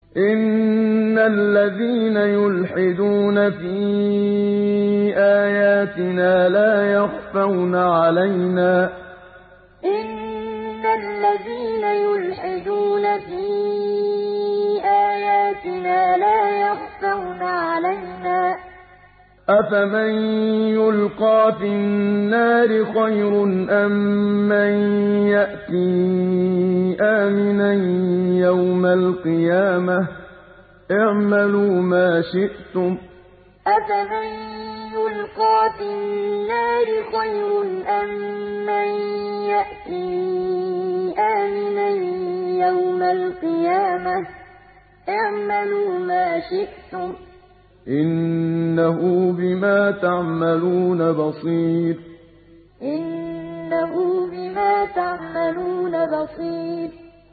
إِنَّ الَّذِينَ يُلْحِدُونَ فِي آيَاتِنَا لَا يَخْفَوْنَ عَلَيْنَا ۗ أَفَمَن يُلْقَىٰ فِي النَّارِ خَيْرٌ أَم مَّن يَأْتِي آمِنًا يَوْمَ الْقِيَامَةِ ۚ اعْمَلُوا مَا شِئْتُمْ ۖ إِنَّهُ بِمَا تَعْمَلُونَ بَصِيرٌ إِنَّ الَّذِينَ يُلْحِدُونَ فِي آيَاتِنَا لَا يَخْفَوْنَ عَلَيْنَا ۗ أَفَمَن يُلْقَىٰ فِي النَّارِ خَيْرٌ أَم مَّن يَأْتِي آمِنًا يَوْمَ الْقِيَامَةِ ۚ اعْمَلُوا مَا شِئْتُمْ ۖ إِنَّهُ بِمَا تَعْمَلُونَ بَصِيرٌ